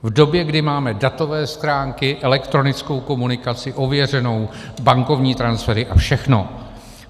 V době, kdy máme datové schránky, elektronickou komunikaci ověřenou, bankovní transfery a všechno.